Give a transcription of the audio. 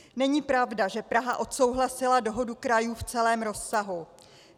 Není pravda, že Praha odsouhlasila dohodu krajů v celém rozsahu.